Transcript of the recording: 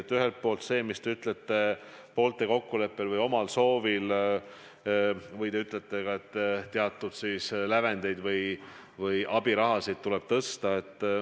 Te ütlete, et poolte kokkuleppel või omal soovil lahkujate puhul tuleks lävendeid tõsta ja abiraha maksta.